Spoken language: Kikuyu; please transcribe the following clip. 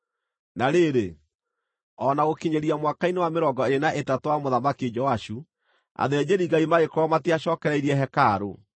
Na rĩrĩ, o na gũkinyĩria mwaka-inĩ wa mĩrongo ĩĩrĩ na ĩtatũ wa Mũthamaki Joashu, athĩnjĩri-Ngai magĩkorwo matiacookereirie hekarũ.